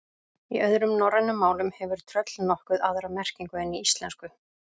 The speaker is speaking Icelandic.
Í öðrum norrænum málum hefur tröll nokkuð aðra merkingu en í íslensku.